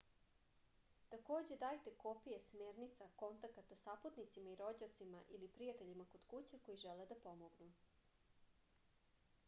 такође дајте копије смерница/контаката сапутницима и рођацима или пријатељима код куће који желе да помогну